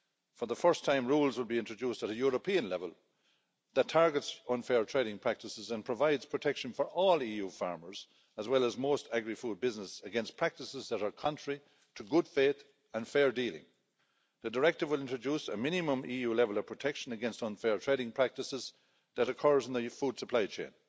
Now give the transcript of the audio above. For the first time, rules will be introduced at a European level that target unfair trading practices and provide protection for all EU farmers, as well as most agri food businesses, against practices that are contrary to good faith and fair dealing. The directive will introduce a minimum EU level of protection against unfair trading practices that occur in the food supply chain.